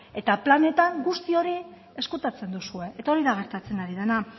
eta planetan guzti hori ezkutatzen duzue eta hori da gertatzen ari dena